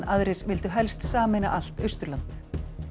aðrir vildu helst sameina allt Austurland